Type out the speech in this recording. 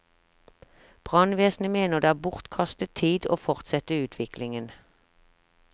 Brannvesenet mener det er bortkastet tid å fortsette utviklingen.